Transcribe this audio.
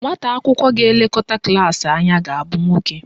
Nwata akwụkwọ ga-elekọta klaasị anyị ga-abụ nwoke.